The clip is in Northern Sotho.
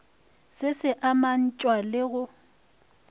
se se amantšhwa le go